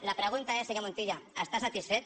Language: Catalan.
la pregunta és senyor montilla està satisfet